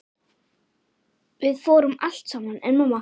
Við fórum allt saman.